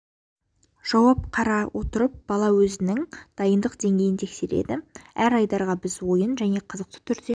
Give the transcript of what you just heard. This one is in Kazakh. жауап қара отырып бала өзінің дайындық деңгейін тексереді әр айдарға біз ойын және қызықты түрде